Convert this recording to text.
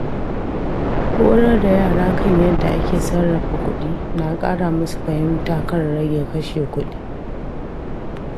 Horar da yara kan yadda ake sarrafa kuɗi na ƙara musu fahimta kan rage kashe kuɗi.